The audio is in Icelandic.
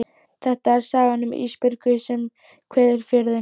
Þetta er sagan um Ísbjörgu sem kveður Fjörðinn.